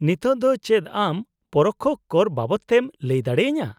-ᱱᱤᱛᱳᱜ ᱫᱚ ᱪᱮᱫ ᱟᱢ ᱯᱚᱨᱚᱠᱽᱠᱷᱚ ᱠᱚᱨ ᱵᱟᱵᱚᱫᱛᱮᱢ ᱞᱟᱹᱭ ᱫᱟᱲᱮᱭᱟᱹᱧᱟᱹ ?